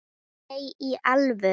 Nei, í alvöru